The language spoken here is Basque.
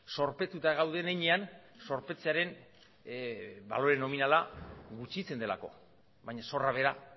zorpetuta gauden heinean zorpetzearen balore nominala gutxitzen delako baina zorra bera